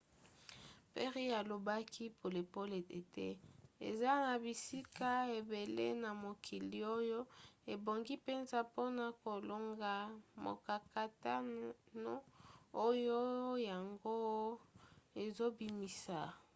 perry alobaki polele ete eza na bisika ebele na mokili oyo ebongi mpenza mpona kolonga mokakatano oyo yango ezobimisa.